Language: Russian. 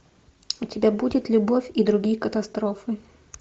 у тебя будет любовь и другие катастрофы